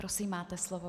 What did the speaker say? Prosím, máte slovo.